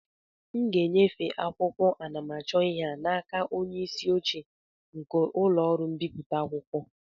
m ga-enyefe akwụkwọ anamachọihe a n'aka onye isi oche nke ụlọ ọrụ mbipụta akwụkwọ